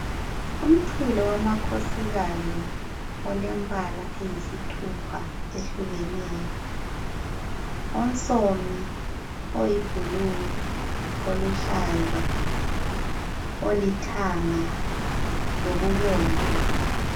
Umchilo wamakhokhosikazi olembala eyisithupha eyehlukeneyo. Onsomi, oyi blue, oluhlaza, olithanga, lokubomvu.